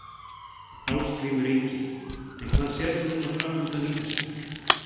Ásgrímur Ingi: En hvað sérðu núna framundan í þessu?